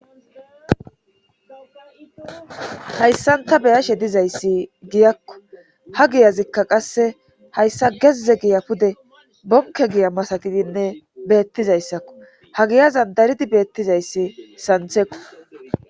hayssanta beyashe dizayssi giyakko ha giyazikka qasse hayssa gezze giya pude Donke giya masatidinne beettizayssakko ha giyazan daridi beettizayssi santheqo.